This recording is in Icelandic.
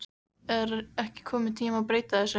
Er ekki kominn tími að breyta þessu?